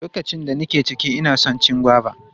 Lokacin da nake ciki, ina son cin goba.